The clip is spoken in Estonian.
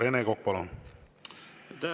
Rene Kokk, palun!